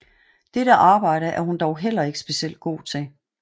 Dette arbejde er hun dog heller ikke specielt god til